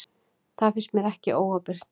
Það finnst mér ekki óábyrgt.